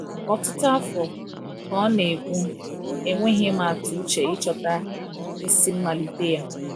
"Ọtụtụ afọ," ka ọ na-ekwu, "enweghị m atụ uche ịchọta isi mmalite ya."